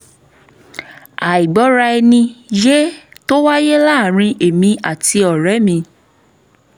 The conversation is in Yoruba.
àìgbọ́ra-ẹni-yé tó wáyé láàárín èmi àti ọ̀rẹ́ mi